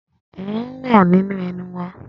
Ahọ́n wà nínú ẹnu wa.